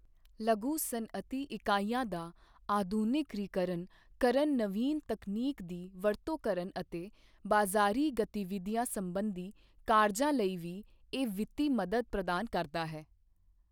ਲਘੂ ਸਨਅਤੀ ਇਕਾਈਆਂ ਦਾ ਆਧੁਨਿਕੀਕਰਨ ਕਰਨ ਨਵੀਨ ਤਕਨੀਕ ਦੀ ਵਰਤੋਂ ਕਰਨ ਅਤੇ ਬਾਜ਼ਾਰੀ ਗਤੀਵਿਧੀਆਂ ਸੰਬੰਧੀ ਕਾਰਜਾਂ ਲਈ ਵੀ ਇਹ ਵਿੱਤੀ ਮਦਦ ਪ੍ਰਦਾਨ ਕਰਦਾ ਹੈ।